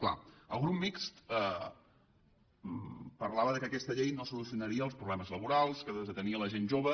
clar el grup mixt parlava que aquesta llei no solucionaria els problemes laborals que tenia la gent jove